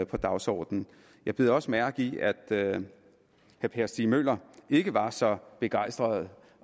på dagsordenen jeg bed også mærke i at herre per stig møller ikke var så begejstret